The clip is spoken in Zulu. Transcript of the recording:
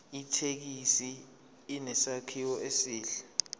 ithekisi inesakhiwo esihle